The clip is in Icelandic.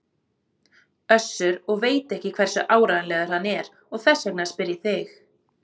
Össur og veit ekki hversu áreiðanlegur hann er og þess vegna spyr ég þig.